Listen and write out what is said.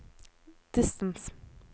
distance